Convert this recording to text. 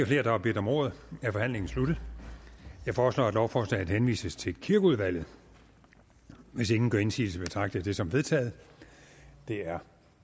flere der har bedt om ordet er forhandlingen sluttet jeg foreslår at lovforslaget henvises til kirkeudvalget hvis ingen gør indsigelse betragter jeg det som vedtaget det er